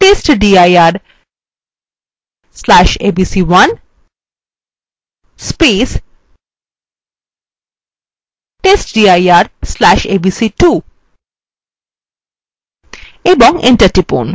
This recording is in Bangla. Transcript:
testdir/abc1 testdir/abc2 এবং enter টিপুন